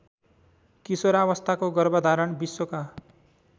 किशोरावस्थाको गर्भधारण विश्वका